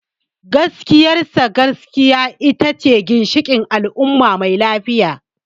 Gaskiyar sa, gaskiya ita ce ginshikin al’umma mai lafiya.